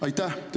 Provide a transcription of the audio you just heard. Aitäh!